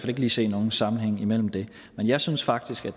ikke lige se nogen sammenhæng mellem det men jeg synes faktisk at